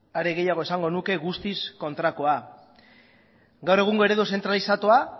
are gehiago esango nuke guztiz kontrakoa gaur egungo eredu zentralizatua